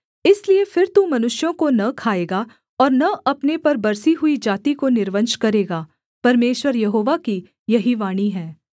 इसलिए फिर तू मनुष्यों को न खाएगा और न अपने पर बसी हुई जाति को निर्वंश करेगा परमेश्वर यहोवा की यही वाणी है